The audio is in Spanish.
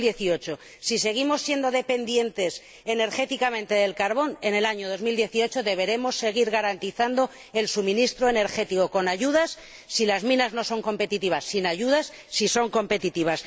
2018. Si seguimos siendo dependientes energéticamente del carbón, en el año 2018 deberemos seguir garantizando el suministro energético con ayudas —si las minas no son competitivas— o sin ayudas —si son competitivas—.